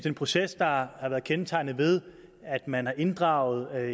en proces der har været kendetegnet ved at man har inddraget